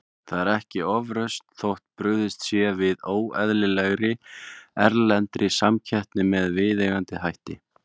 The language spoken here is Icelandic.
Það er ekki ofrausn þótt brugðist sé við óeðlilegri, erlendri samkeppni með viðeigandi hætti.